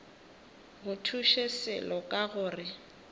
go thuše selo ka gore